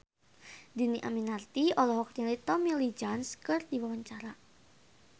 Dhini Aminarti olohok ningali Tommy Lee Jones keur diwawancara